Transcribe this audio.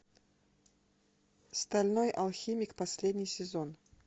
стальной алхимик последний сезон